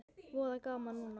Voða gaman núna.